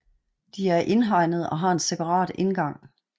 De er indhegnet og har en separat indgang